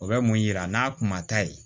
O bɛ mun yira n'a kuma ta ye